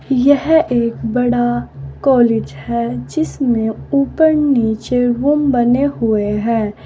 यह एक बड़ा कॉलेज है जिसमें ऊपर नीचे रूम बने हुए हैं।